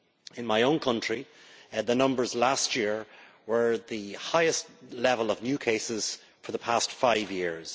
In my own country the numbers last year were at the highest level of new cases for the past five years.